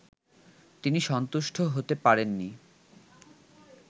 তিনি সন্তুষ্ট হতে পারেন নি